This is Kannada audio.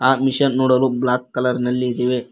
ಆ ಮಿಷನ್ ನೋಡಲು ಬ್ಲಾಕ್ ಕಲರ್ ನಲಿ ಇದಿವೆ.